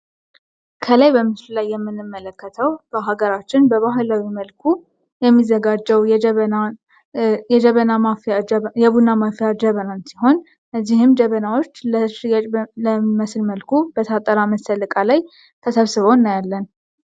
ከላይ በምስ ላይ የምንመለከተው በሀገራችን በባህላዊ መልኩ የሚዘጋጀው የቡና ማፊያ ጀበናንት ሲሆን ነዚህም ጀበናዎች ለርየጭ ለሚመስል መልኩ በታጠራ መሰልቃ ላይ ተሰብስበው እናያለን።